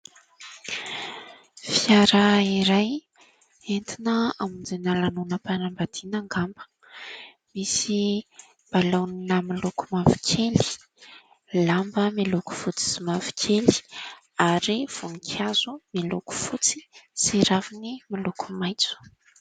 Fiara iray, entina hamonjena lanona-panambadiana angamba ? Misy, balona miloko mavokely. Lamba, miloko fotsy sy mavokely . Ary voninkazo, (miloko fotsy) sy raviny, (miloko maintso).